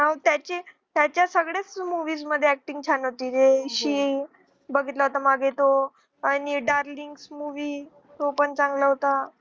हा मग त्याची त्याच्या सगळ्याच movies मधे acting छान होती जे बघितला होता मागे तो आणि darling movie तो पण चांगला होता